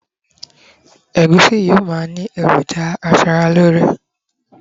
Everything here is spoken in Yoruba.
egusi yíò ma ni ni eroja aṣara lore